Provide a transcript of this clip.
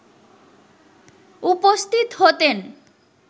উপস্থিত হতেন